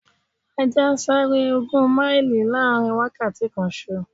Ajá ń sáré ogún máìlì láàrin wákàtí kanṣo.